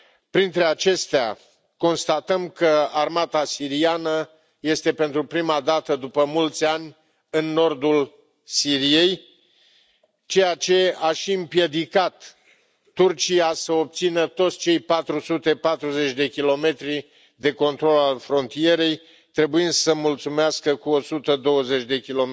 Printre acestea, constatăm că armata siriană este, pentru prima dată după mulți ani, în nordul Siriei, ceea ce a și împiedicat Turcia să obțină toți cei 440 km de control al frontierei, trebuind să se mulțumească cu 120 km.